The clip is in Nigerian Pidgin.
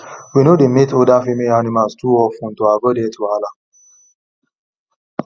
we no dey mate older female animals too of ten to avoid health wahala